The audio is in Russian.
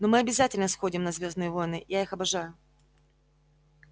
но мы обязательно сходим на звёздные войны я их обожаю